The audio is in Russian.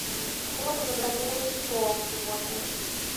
хотела бы забронировать стол сегодня